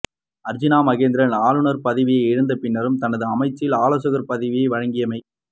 அர்ஜூனா மகேந்திரன் ஆளுநர் பதவியை இழந்த பின்னரும் தனது அமைச்சில் ஆலோசகர் பதவியை வழங்கியமை